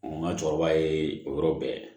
n ka cɛkɔrɔba ye o yɔrɔ bɛɛ